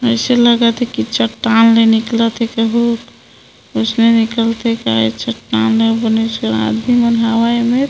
ऐसे लगथे कि चट्टान ले निकलथे कहु ओष्ने निकल के चटान बने आदमी मन हावे एमे--